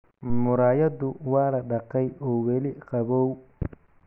Muraayaddu waa la dhaqay oo weli qabow.